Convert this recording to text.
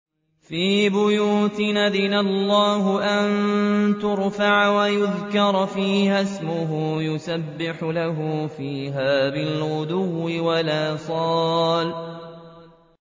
فِي بُيُوتٍ أَذِنَ اللَّهُ أَن تُرْفَعَ وَيُذْكَرَ فِيهَا اسْمُهُ يُسَبِّحُ لَهُ فِيهَا بِالْغُدُوِّ وَالْآصَالِ